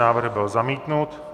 Návrh byl zamítnut.